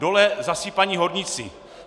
Dole zasypaní horníci.